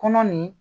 Kɔnɔ nin